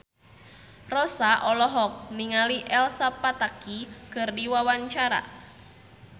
Rossa olohok ningali Elsa Pataky keur diwawancara